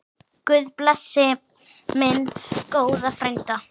Guð blessi minn góða frænda.